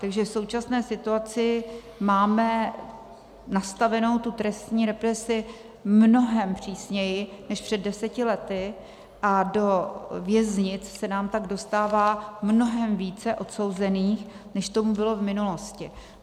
Takže v současné situaci máme nastavenou tu trestní represi mnohem přísněji než před deseti lety a do věznic se nám pak dostává mnohem více odsouzených, než tomu bylo v minulosti.